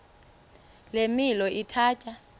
le milo ithatya